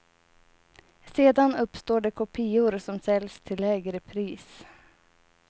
Sedan uppstår det kopior som säljs till lägre pris.